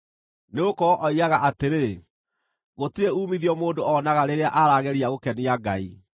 Nĩgũkorwo oigaga atĩrĩ, ‘Gũtirĩ uumithio mũndũ onaga rĩrĩa arageria gũkenia Ngai.’